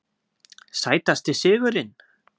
Sætasti sigurinn?